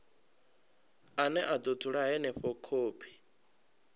ane a dzula henefho khophi